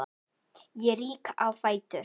Ég rýk á fætur.